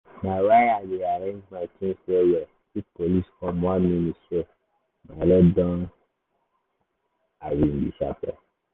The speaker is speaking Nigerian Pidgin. na why i dey arrange my things well-well if police come one minute self my load don disappear.